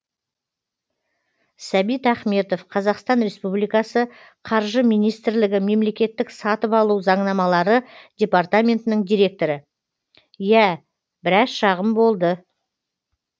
сәбит ахметов қазақстан республикасының қаржы министрлігі мемлекеттік сатып алу заңнамалары департаментінің директоры иә біраз шағым болды